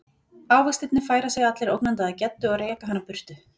Ávextirnir færa sig allir ógnandi að Geddu og reka hana burtu.